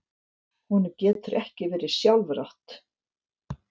Honum getur ekki verið sjálfrátt.